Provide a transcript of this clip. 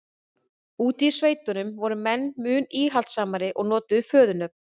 úti í sveitunum voru menn mun íhaldssamari og notuðu föðurnöfn